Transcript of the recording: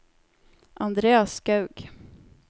Andreas Skaug